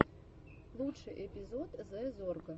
лучший эпизод зэ зорга